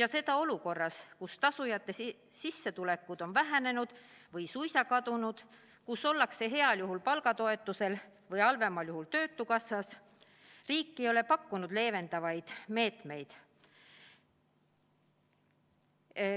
ja seda olukorras, kus tasujate sissetulekud on vähenenud või suisa kadunud, kus ollakse heal juhul palgatoetusel või halvemal juhul töötukassas arvel –, ei ole riik pakkunud leevendavaid meetmeid.